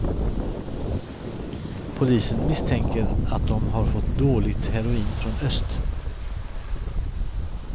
Polisen misstänker att de har fått dåligt heroin från öst.